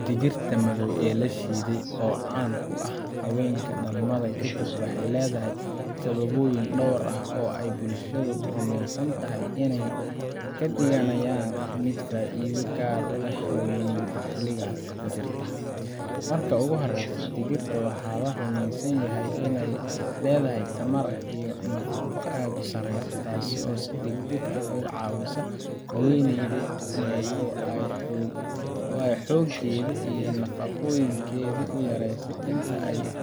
Digirta madow ee la shiiday oo caan ku ah haweenka dhalmada kadib waxay leedahay sababoyin dhowr ah oo ay bulshadu rumaysan tahay inay ka dhigayaan mid faa’iido gaar ah u leh haweeneyda xilligaas ku jirta. Marka ugu horreysa, digirtan waxaa la rumeysan yahay inay leedahay tamar iyo nafaqo aad u sarreeya, taasoo si degdeg ah uga caawisa haweeneyda oo ay xoogeedii iyo nafaqooyinkeedii u yaraaday inta ay